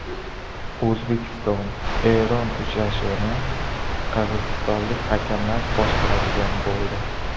O‘zbekistonEron uchrashuvini qirg‘izistonlik hakamlar boshqaradigan bo‘ldi.